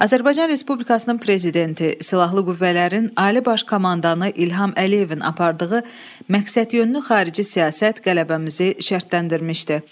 Azərbaycan Respublikasının Prezidenti, Silahlı Qüvvələrin Ali Baş Komandanı İlham Əliyevin apardığı məqsədyönlü xarici siyasət qələbəmizi şərtləndirmişdi.